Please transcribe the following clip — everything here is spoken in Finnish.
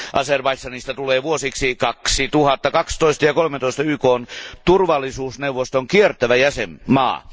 Azerbaidžanista tulee vuosiksi 2012 ja 2013 YKn turvallisuusneuvoston kiertävä jäsenmaa.